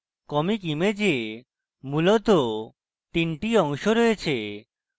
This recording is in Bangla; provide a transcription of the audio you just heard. comic image মূলত তিনটি অংশ রয়েছে